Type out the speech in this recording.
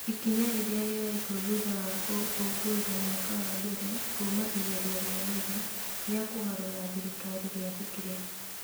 Ikinya rĩrĩ rĩoetwo thutha wa gũkũngũira mwaka wa mbere kuuma igerio rĩa mbere rĩa kũgarũra thirikari rĩa hukire